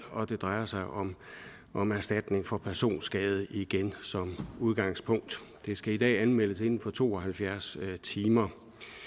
og det drejer sig om om erstatning for personskade igen som udgangspunkt det skal i dag anmeldes inden for to og halvfjerds timer